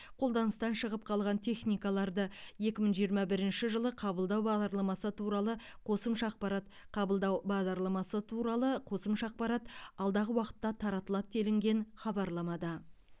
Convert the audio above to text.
қолданыстан шығып қалған техникаларды екі мың жиырма бірінші жылы қабылдау бағдарламасы туралы қосымша ақпарат қабылдау бағдарламасы туралы қосымша ақпарат алдағы уақытта таратылады делінген хабарламада